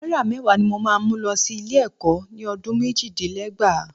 Náírà mẹ́wàá ni mo máa mú lọ sí ilé-ẹ̀kọ́ ni ọdún méjìdínlẹ́gbàá.